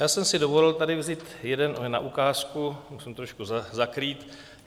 Já jsem si dovolil tady vzít jeden na ukázku, musím trošku zakrýt.